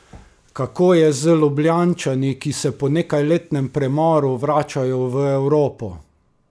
Kako je z Ljubljančani, ki se po nekajletnem premoru vračajo v Evropo?